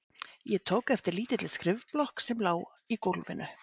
Ég tók eftir lítilli skrifblokk sem lá í gólfinu.